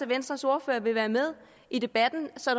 venstres ordfører vil være med i debatten så